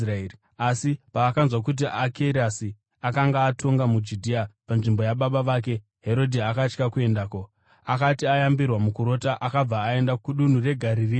Asi paakanzwa kuti Akerasi akanga otonga muJudhea panzvimbo yababa vake Herodhi, akatya kuendako. Akati ayambirwa mukurota, akabva aenda kudunhu reGarirea,